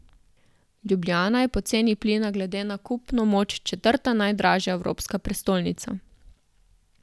Ljubljana je po ceni plina glede na kupno moč četrta najdražja evropska prestolnica.